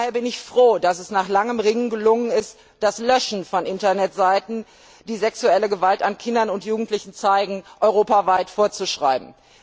Daher bin ich froh, dass es nach langem Ringen gelungen ist, das Löschen von Internetseiten, die sexuelle Gewalt an Kindern und Jugendlichen zeigen, europaweit vorzuschreiben.